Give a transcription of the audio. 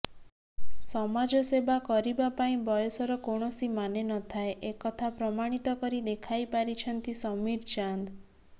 ସମାଜସେବା କରିବାପାଇଁ ବୟସର କୌଣସି ମାନେ ନଥାଏ ଏକଥା ପ୍ରମାଣିତ କରି ଦେଖାଇ ପାରିଛନ୍ତି ସମୀର ଚାନ୍ଦ